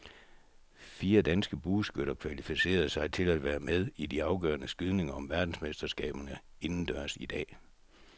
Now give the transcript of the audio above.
Fire danske bueskytter kvalificerede sig til at være med i de afgørende skydninger om verdensmesterskaberne indendørs i dag.